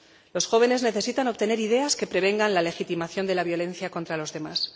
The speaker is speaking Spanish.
Los jóvenes necesitan obtener ideas que prevengan la legitimación de la violencia contra los demás.